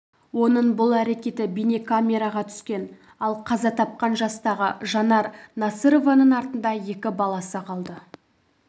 оның бұл әрекеті бейнекамераға түскен ал қаза тапқан жастағы жанар насырованың артында екі баласы қалды